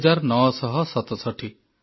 ଦୁଇ ହଜାର ନ ସହ ସତଷଠି